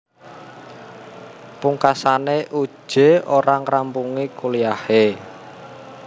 Pungkasane Uje ora ngrampungi kuliahe